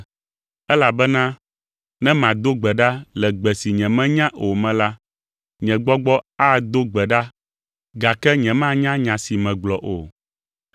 Elabena ne mado gbe ɖa le gbe si nyemenya o me la, nye gbɔgbɔ ado gbe ɖa gake nyemanya nya si megblɔ o.